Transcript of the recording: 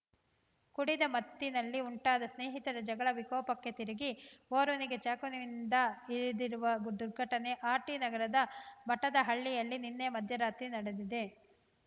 ಕುಡಿದ ಮತ್ತಿನಲ್ಲಿ ಉಂಟಾದ ಸ್ನೇಹಿತರ ಜಗಳ ವಿಕೋಪಕ್ಕೆ ತಿರುಗಿ ಓರ್ವನಿಗೆ ಚಾಕುವಿನಿಂದ ಇರಿದಿರುವ ದುರ್ಘಟನೆ ಆರ್‌ಟಿ ನಗರದ ಮಠದಹಳ್ಳಿಯಲ್ಲಿ ನಿನ್ನೆ ಮಧ್ಯರಾತ್ರಿ ನಡೆದಿದೆ